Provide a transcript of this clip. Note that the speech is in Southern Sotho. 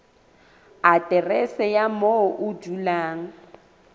aterese ya moo o dulang